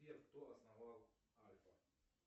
сбер кто основал альфа